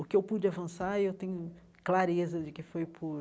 O que eu pude avançar, eu tenho clareza de que foi por